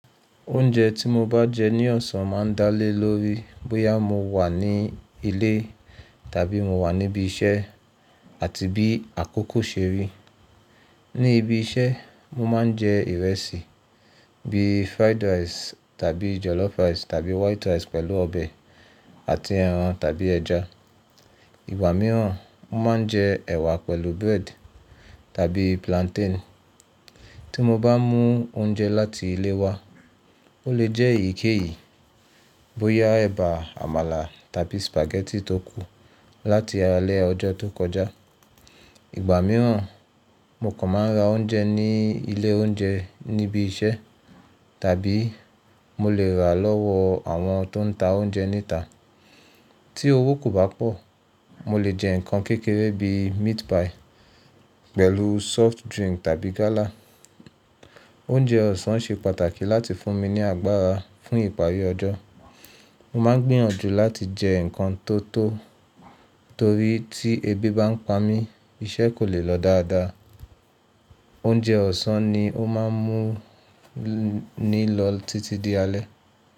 Oúnjẹ tí mo bá jẹ ní ọ̀sán máa ń dá lé lórí bóyá mo wà ní ilé tàbí mo wà níbí iṣẹ́ àti bí àkókò ṣe rí. Ní ibi iṣẹ́ mo máa ń jẹ ìrẹsì bíi fried rice tàbí jollof rice tàbí white rice pẹ̀lú ọbẹ̀ àti ẹran tàbí ẹja. Ìgbà mìíràn mo máa ń jẹ ẹwà pẹ̀lú bread tàbí plantain. Tí mo bá mú oúnjẹ láti ilé wa, ó lè jẹ́ èyíkéyìí bóyá ẹ̀bà, àmàlà tàbí spaghetti tó kù láti alẹ́ ọjọ́ tó kọjá. Ìgbà mìíràn mo kàn máa ń ra oúnjẹ ní ilé oúnjẹ níbí iṣẹ́ tàbí mo lè rà lọ́wọ́ àwọn tó ń ta oúnjẹ níta. Tí owó kò bá pọ̀, mo lè jẹ nǹkan kékeré bíi meat pie pẹ̀lú soft drink tàbí gálà. Oúnjẹ ọ̀sán ṣe pàtàkì láti fún mi ní agbára fún ìparí ọjọ́. Mo máa ń gbínyànjú láti jẹ nǹkan tó tọ́ torí tí ebi bá ń pa mí, iṣẹ́ kò lè lọ dáadáa. Oúnjẹ ọ̀sán ni ó máa ń mú mi ní lọ títí di alẹ́.